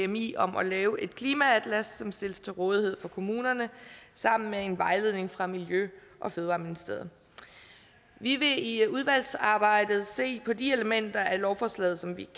dmi om at lave et klimaatlas som stilles til rådighed for kommunerne sammen med en vejledning fra miljø og fødevareministeriet vi vil i i udvalgsarbejdet se på de elementer af lovforslaget som vi